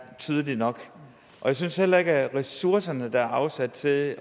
tydelig nok og jeg synes heller ikke at de ressourcer der er afsat til at